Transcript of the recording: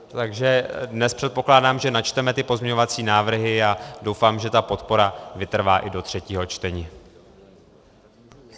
Takže dnes předpokládám, že načteme ty pozměňovací návrhy, a doufám, že ta podpora vytrvá i do třetího čtení.